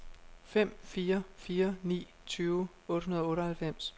fem fire fire ni tyve otte hundrede og otteoghalvfems